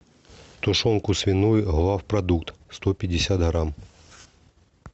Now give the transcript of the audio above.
тушенку свиную главпродукт сто пятьдесят грамм